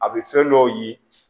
A bɛ fɛn dɔw ye